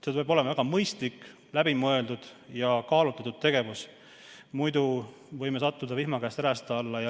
See peab olema väga mõistlik, läbimõeldud ja kaalutletud tegevus, muidu võime sattuda vihma käest räästa alla.